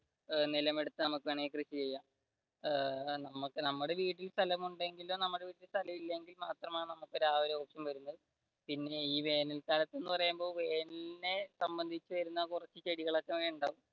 നിലമെടുത്ത വേണമെങ്കിൽ നമുക്ക് കൃഷി ചെയ്യാം നമ്മുടെ വീട്ടിൽ സ്ഥലമുണ്ടെകിൽ നമ്മുടെ വീട്ടിൽ സ്ഥലമില്ലെങ്കിൽ ആ ഒരു പ്രശ്നം വരുക പിന്നെ ഈ വേനൽ കാലത് എന്ന് പറയുമ്പോൾ വേനലിനെ സംബന്ധിച്ച് വരുന്ന കുറച്ചു ചെടികൾ